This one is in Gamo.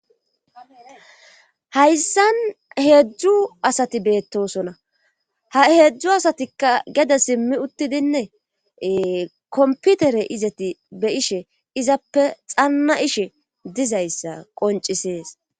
hayssan heedzdzu asati beettosona ha heedzdzu asatikka gede simmi uttidinne komputere izeti be'ishe izappe xanna ishe dizayssa qoncisees